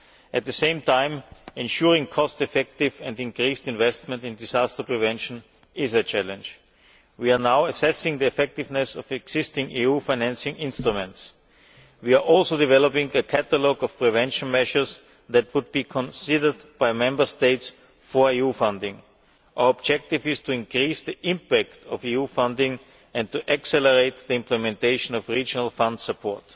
At the same time, ensuring cost effective and increased investment in disaster prevention is a challenge. We are now assessing the effectiveness of existing EU financing instruments. We are also developing a catalogue of prevention measures that would be considered by Member States for EU funding. Our objective is to increase the impact of EU funding and to accelerate the implementation of Regional Fund support.